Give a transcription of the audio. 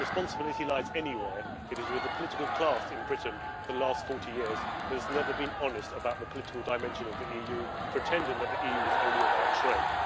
If responsibility lies anywhere, it is with the political class in Britain who, for the last 40 years, have not been honest about the political dimension of the EU, pretending that the EU was only about trade.